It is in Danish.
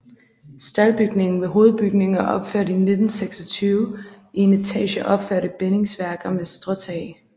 Staldbygningen ved hovedbygningen er opført i 1926 i en etage opført i bindingsværk og med stråtag